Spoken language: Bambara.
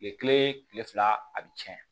Ye kile fila a bi cɛn